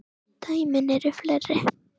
Dæmin eru fleiri.